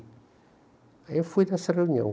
Aí eu fui nessa reunião.